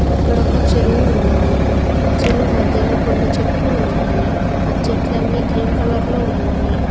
ఇక్కడొక చెరువు ఉన్నది చెరువు మధ్యలో కొన్ని చెట్లు ఉన్నాయి ఆ చెట్లన్నీ గ్రీన్ కలర్ లో ఉన్నాయి.